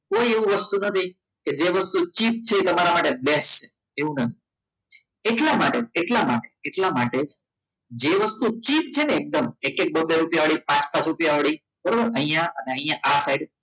કોઈ એવું વસ્તુ નથી કે જે વસ્તુ cheap છે એ તમારા માટે best એવું નથી એટલા માટે એટલા માટે એટલા માટે જે વસ્તુ cheap છે ને એકદમ એક એક બબ્બે રૂપિયા અને પાંચ રૂપિયાની બરાબર એ અહીંયા ને અહીંયા આ સાઇડ